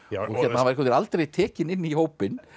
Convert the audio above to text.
hann var aldrei tekinn inn í hópinn